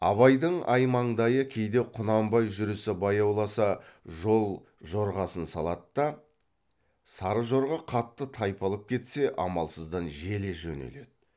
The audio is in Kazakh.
абайдың аймаңдайы кейде құнанбай жүрісі баяуласа жол жорғасын салады да сары жорға қатты тайпалып кетсе амалсыздан желе жөнеледі